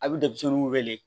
A bɛ denmisɛnninw wele